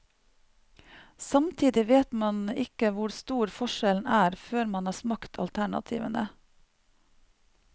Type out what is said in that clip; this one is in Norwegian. Samtidig vet man ikke hvor stor forskjellen er før man har smakt alternativene.